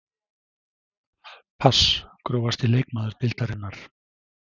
Pass Grófasti leikmaður deildarinnar?